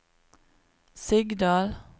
Sigdal